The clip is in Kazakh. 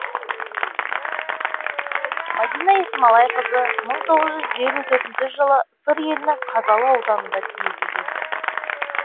мадина есмалайқызы мың тоғыз жүз елу төртінші жылы сыр елінің қазалы ауданында дүниеге келген